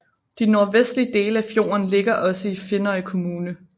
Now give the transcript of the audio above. De nordvestlige dele af fjorden ligger også i Finnøy kommune